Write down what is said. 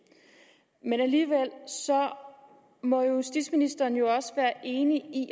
men så må justitsministeren jo også være enig i